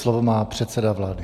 Slovo má předseda vlády.